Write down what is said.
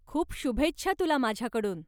खूप शुभेच्छा तुला माझ्याकडून.